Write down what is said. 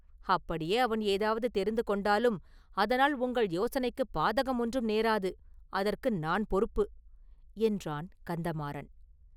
அப்படியே அவன் ஏதாவது தெரிந்து கொண்டாலும், அதனால் உங்கள் யோசனைக்குப் பாதகம் ஒன்றும் நேராது; அதற்கு நான் பொறுப்பு!” என்றான் கந்தமாறன்.